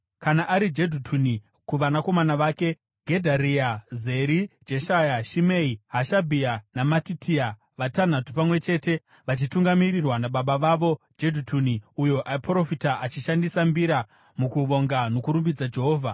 Kana ari Jedhutuni, kuvanakomana vake: Gedharia, Zeri, Jeshaya, Shimei, Hashabhia naMatitia, vatanhatu pamwe chete, vachitungamirirwa nababa vavo Jedhutuni uyo aiprofita achishandisa mbira mukuvonga nokurumbidza Jehovha.